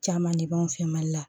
Caman de b'anw fɛ mali la